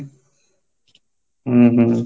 ଉ ହୁଁ